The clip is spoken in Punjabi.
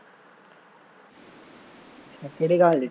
ਕਿਹੜੇ ਕਾਲਜ